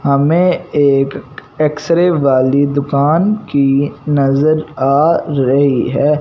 हमें एक X ray वाली दुकान की नजर आ रही है।